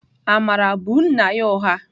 Amara bụ nna ya ụgha.